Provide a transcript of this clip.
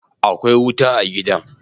Akwai wuta a gidan